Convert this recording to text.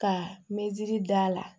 Ka meziri d'a la